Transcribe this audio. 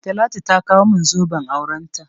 Talatu ta kawo min zoben aurenta.